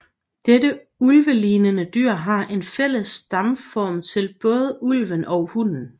Dette ulvelignende dyr er en fælles stamform til både ulven og hunden